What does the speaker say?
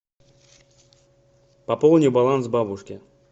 пополни баланс бабушке